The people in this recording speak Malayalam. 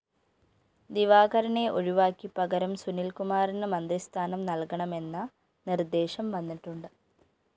ദിവാകരനെ ഒഴിവാക്കി പകരം സുനില്‍കുമാറിന് മന്ത്രിസ്ഥാനം നല്‍കണമെന്ന നിര്‍ദ്ദേശം വന്നിട്ടുണ്ട്